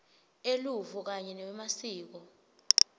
eluvo kanye newemasiko